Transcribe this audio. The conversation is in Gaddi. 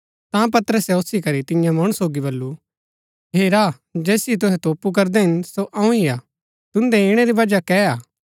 ता पतरसे ओसी करी तियां मणु सोगी बल्लू हेरा जैसिओ तुहै तोपु करदै हिन सो अऊँ ही हा तुन्दै इणै री वजह कै हा